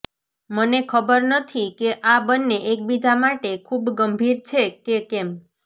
મને ખબર નથી કે આ બંને એકબીજા માટે ખૂબ ગંભીર છે કે કેમ